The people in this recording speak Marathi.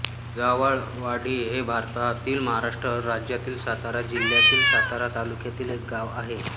जावळवाडी हे भारतातील महाराष्ट्र राज्यातील सातारा जिल्ह्यातील सातारा तालुक्यातील एक गाव आहे